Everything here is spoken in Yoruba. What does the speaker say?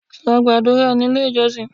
Lọ gàdúrà ní ilé ìjọsìn!